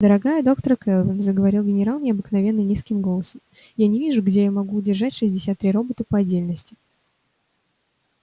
дорогая доктор кэлвин заговорил генерал необыкновенно низким голосом я не вижу где я могу держать шестьдесят три робота по отдельности